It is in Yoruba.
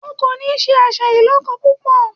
O kò ní se àṣà ìlọ́kọ púpọ̀!